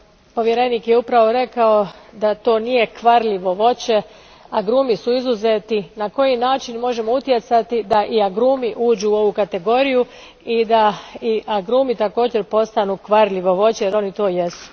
Povjerenik je upravo rekao da to nije kvarljivo voće, agrumi su izuzeti. Na koji način možemo utjecati da i agrumi uđu u ovu kategoriju te da agrumi također postanu kvarljivo voće, jer oni to jesu.